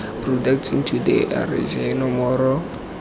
products into the rsa foromo